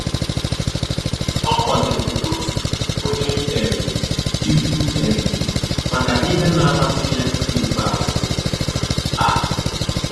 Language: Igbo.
Ọ kwadoro otu onye um ikwu um maka ihe na amasị ya nke ikpeazụ a